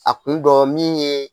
A kun dɔ min ye